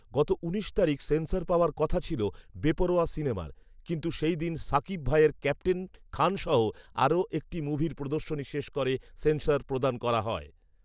গত উনিশ তারিখ সেন্সর পাওয়ার কথা ছিল বেপরোয়া সিনেমার৷ কিন্তু সেইদিন শাকিব ভাইয়ের ক্যাপ্টেন খানসহ আরো একটি মুভির প্রদর্শনী শেষ করে সেন্সর প্রদান করা হয়